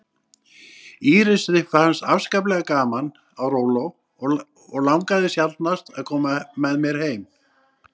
Írisi fannst afskaplega gaman á róló og langaði sjaldnast að koma með mér heim.